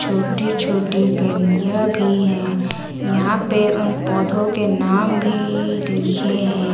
छोटी छोटी गलिया भी है यहां पे उन पौधों के नाम भी लिखे है।